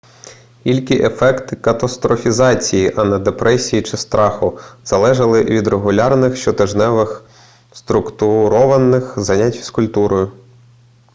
ільки ефекти катастрофізації а не депресії чи страху залежали від регулярних щотижневих структурованих занять фізкультурою